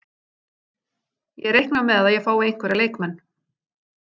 Ég reikna með að ég fái einhverja leikmenn.